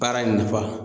Baara in nafa